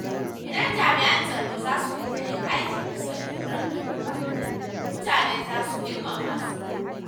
Idan jami'an tsaro zasu riƙa yin aiki bisa doron doka, mutane za su girmama su.